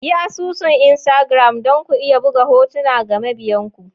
Yi asusun Instagram don ku iya buga hotuna ga mabiyan ku.